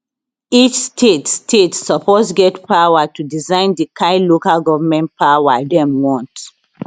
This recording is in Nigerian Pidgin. each state state suppose get power to design di kind local goment system dem want